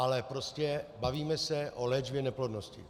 Ale prostě bavíme se o léčbě neplodnosti.